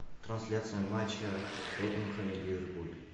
трансляция матча тоттенхэм и ливерпуль